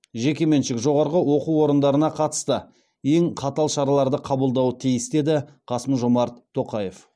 жекеменшік жоғарғы оқу орындарына қатысты ең қатал шараларды қабылдауы тиіс деді қасым жомарт тоқаев